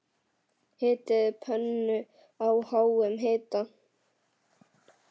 Hitið pönnu á háum hita.